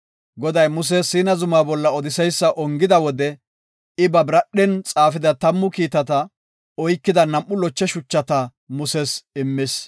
Goday Muse Siina zuma bolla odiseysa ongida wode, I ba biradhen xaafida tammu kiitata oykida nam7u loche shuchata Muses immis.